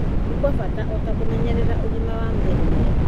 nĩ gwa bata o ta kũmenyerera ũgima wa mwĩrĩ mwega